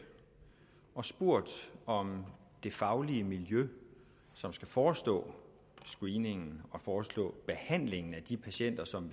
og spurgt om det faglige miljø som skal forestå screeningen og forestå behandlingen af de patienter som